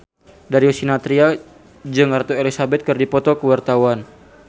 Darius Sinathrya jeung Ratu Elizabeth keur dipoto ku wartawan